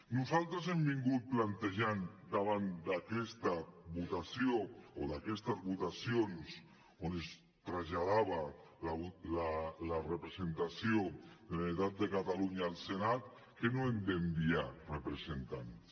nosaltres hem vingut plantejant davant d’aquesta votació o d’aquestes votacions on es traslladava la representació de la generalitat de catalunya al senat que no hem d’enviar representants